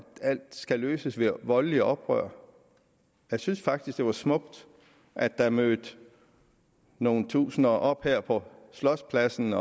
alt skal løses ved voldeligt oprør jeg synes faktisk at det var smukt at der mødte nogle tusinder op her på slotspladsen